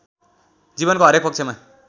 जीवनको हरेक पक्षमा